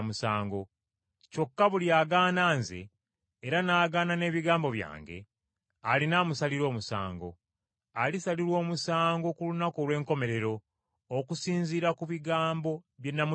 Kyokka buli agaana Nze era n’agaana n’ebigambo byange, alina amusalira omusango. Alisalirwa omusango ku lunaku olw’enkomerero okusinziira ku bigambo bye namutegeeza.